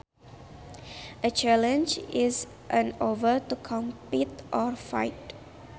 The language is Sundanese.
A challenge is an offer to compete or fight